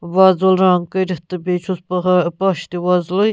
.وۄزُل رنٛگ کٔرِتھ تہٕ بیٚیہِ چُھس پہا پَش تہِ وۄزلُے